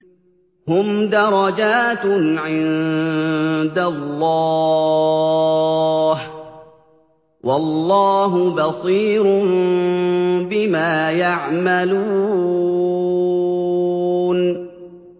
هُمْ دَرَجَاتٌ عِندَ اللَّهِ ۗ وَاللَّهُ بَصِيرٌ بِمَا يَعْمَلُونَ